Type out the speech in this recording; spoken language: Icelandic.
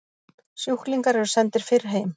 Sjúklingar eru sendir fyrr heim